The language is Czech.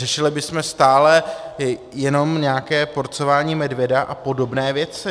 Řešili bychom stále jenom nějaké porcování medvěda a podobné věci.